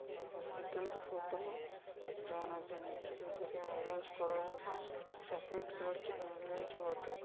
ई हॉस्पिटल के फोटो ह। जौना के नीचे एगो एम्बुलेंस खड़ा ह। सफेद कलर के एम्बुलेंस बाटे।